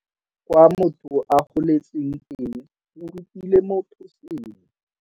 Kwa motho a goletseng teng go rutile motho sengwe.